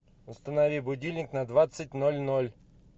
установи будильник на двадцать ноль ноль